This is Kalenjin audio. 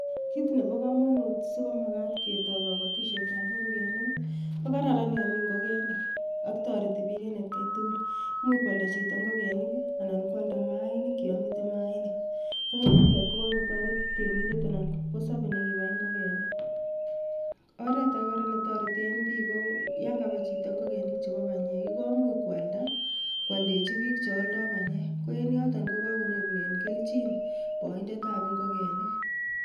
Kit neboo komonut sikomagat ketoi kobotisietab ingogenik I,KO kararan yon mi ingogenik. Ak toretii book en etkai tugul, much koaldaa chito ingogenik anan ko aldaa mainik yon miiten mainik koen yutet ko kakotoret reminder anan kipkosobei nekibai ingogenik. Oretage kora netoreten biik ko yon kabai chito ingogenik chebo banyeek I,komuch koaldaa koaldechii biik cheoldoo banyek koenyoton kokanyorunen kelchiin boindetab ingogenik.